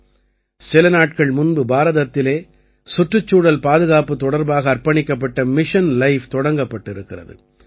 சில நாட்கள் முன்பு பாரதத்திலே சுற்றுச்சூழல் பாதுகாப்பு தொடர்பாக அர்ப்பணிக்கப்பட்ட மிஷன் லைஃப் தொடங்கப்பட்டிருக்கிறது